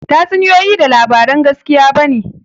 Tatsuniyoyi ba labaran gaskiya ba ne